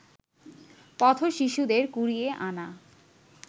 পথ-শিশুদের কুড়িয়ে আনা